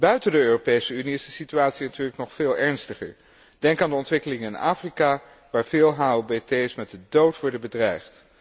Buiten de Europese Unie is de situatie natuurlijk nog veel ernstiger. Denk aan de ontwikkeling in Afrika, waar veel HOBT's met de dood worden bedreigd.